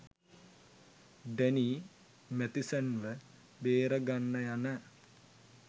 Danny Matheson ව බේරගන්න යන